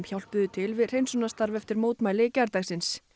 hjálpuðu til við hreinsunarstarf eftir mótmæli gærdagsins